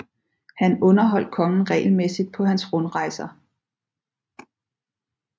Han underholdt kongen regelmæssigt på hans rundrejser